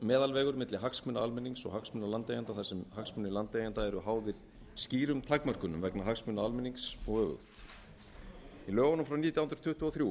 meðalvegur milli hagsmuna almennings og hagsmuna landeigenda þar sem hagsmunir landeigenda eru háðir skýrum takmörkunum vegna hagsmuna almennings og öfugt í lögunum frá í lögunum frá nítján hundruð tuttugu og þrjú